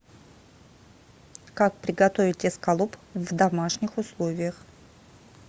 как приготовить эскалоп в домашних условиях